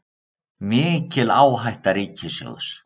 Mikil áhætta ríkissjóðs